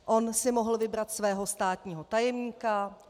On si mohl vybrat svého státního tajemníka.